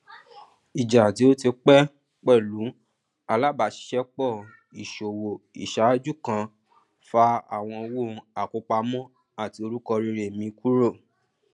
ìjà tí ó ti pé pẹlú alábàáṣiṣẹpọ íṣòwò iṣáájú kan fa àwọn owó àkópamọ àti orúkọ rere mi kúrò